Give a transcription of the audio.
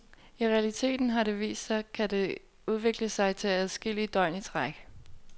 I realiteten, har det vist sig, kan det udvikle sig til adskillige døgn i træk.